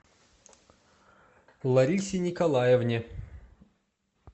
ларисе николаевне